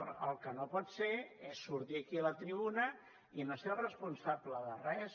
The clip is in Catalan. però el que no pot ser és sortir aquí a la tribuna i no ser responsable de res